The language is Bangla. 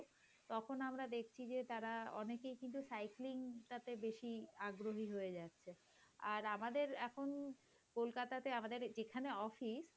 তখন আমরা দেখছি যে তারা অনেকেই কিন্তু cycling টাতে বেশি আগ্রহী হয়ে যাচ্ছে আর আমাদের এখন কলকাতা তে আমাদের যেখানে অফিস,